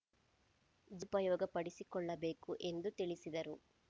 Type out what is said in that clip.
ಸುಪಯೋಗ ಪಡಿಸಿಕೊಳ್ಳಬೇಕು ಎಂದು ತಿಳಿಸಿದರು